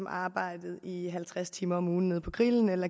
arbejdede i halvtreds timer om ugen nede på grillen eller